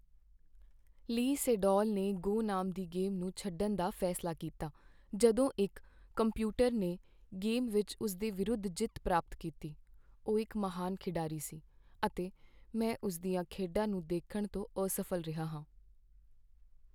ਲੀ ਸੇਡੋਲ ਨੇ "ਗੋ" ਨਾਮ ਦੀ ਗੇਮ ਨੂੰ ਛੱਡਣ ਦਾ ਫੈਸਲਾ ਕੀਤਾ ਜਦੋਂ ਇੱਕ ਕੰਪਿਊਟਰ ਨੇ ਗੇਮ ਵਿੱਚ ਉਸ ਦੇ ਵਿਰੁੱਧ ਜਿੱਤ ਪ੍ਰਾਪਤ ਕੀਤੀ। ਉਹ ਇਕ ਮਹਾਨ ਖਿਡਾਰੀ ਸੀ ਅਤੇ ਮੈਂ ਉਸ ਦੀਆਂ ਖੇਡਾਂ ਨੂੰ ਦੇਖਣ ਤੋਂ ਅਸਫ਼ਲ ਰਿਹਾ ਹਾਂ।